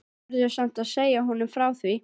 Verður samt að segja honum frá því.